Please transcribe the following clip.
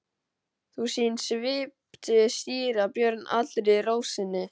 Sú sýn svipti síra Björn allri ró sinni.